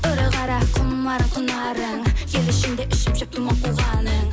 ұры қара құмарың құнарың ел ішінде ішіп жеп думан қуғаның